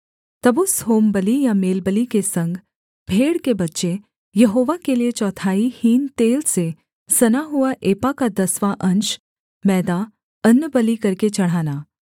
तब उस होमबलि या मेलबलि के संग भेड़ के बच्चे यहोवा के लिये चौथाई हीन तेल से सना हुआ एपा का दसवाँ अंश मैदा अन्नबलि करके चढ़ाना